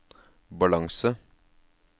balanse